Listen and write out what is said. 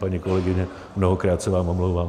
Paní kolegyně, mnohokrát se vám omlouvám.